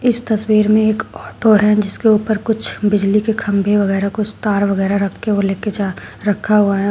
इस तस्वीर में एक ऑटो है जिसके ऊपर कुछ बिजली के खंभे वगैरा कुछ तार वगैरा रख के लेके जा रखा हुआ है।